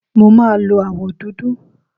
Mo máa lo àwọ̀ dúdú.